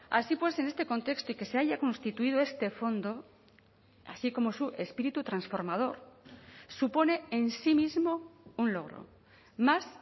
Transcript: así pues en este contexto y que se haya constituido este fondo así como su espíritu transformador supone en sí mismo un logro más